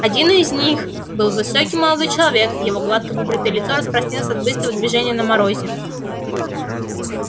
один из них был высокий молодой человек его гладко выбритое лицо раскраснелось от быстрого движения на морозе